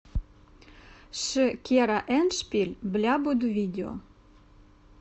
ши кера эндшпиль бля буду видео